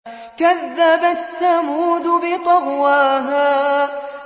كَذَّبَتْ ثَمُودُ بِطَغْوَاهَا